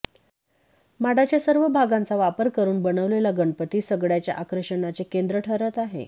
माडाच्या सर्व भागांचा वापर करून बनवलेला गणपती सगळ्याच्या आकर्षणाचे केंद्र ठरत आहे